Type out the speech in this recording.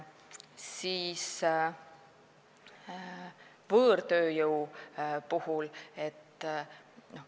Võõrtööjõust.